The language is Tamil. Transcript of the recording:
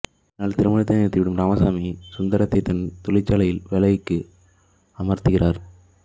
இதனால் திருமணத்தை நிறுத்திவிடும் ராமசாமி சுந்தரத்தை தன் தொழிற்சாலையில் வேலைக்கு அமர்த்துகிறார்